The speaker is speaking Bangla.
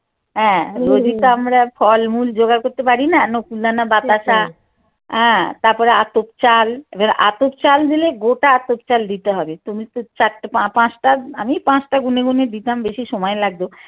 হ্যাঁ আমরা ফলমূল যোগাড় করতে পারি না নকুল দানা বাতাসা হ্যাঁ তারপরে আতপ চাল এবার আতপ চাল দিলে গোটা আতপ চাল দিতে হবে তুমি তো চারটে পাঁচটা আমি পাঁচটা গুনে গুনে দিতাম বেশি সময় লাগত।